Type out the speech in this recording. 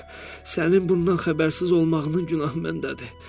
Sənin bundan xəbərsiz olmağının günahı məndədir.